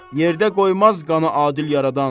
Yerdə qoymaz qanı adil Yaradan.